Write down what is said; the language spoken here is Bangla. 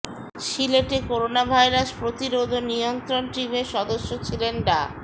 সিলেটে করোনাভাইরাস প্রতিরোধ ও নিয়ন্ত্রণ টিমের সদস্য ছিলেন ডা